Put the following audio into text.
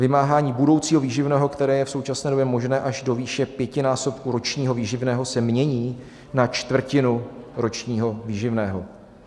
Vymáhání budoucího výživného, které je v současné době možné až do výše pětinásobku ročního výživného, se mění na čtvrtinu ročního výživného.